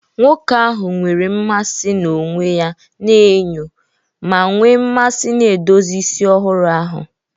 Nwoke ahụ nwere mmasị na onwe ya na enyo, ma nwee mmasị na edozi isi ọhụrụ ahụ.